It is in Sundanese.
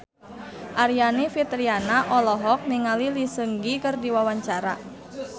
Aryani Fitriana olohok ningali Lee Seung Gi keur diwawancara